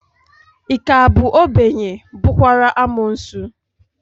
Ị ka bụ obenye, bụrụkwa amuosu?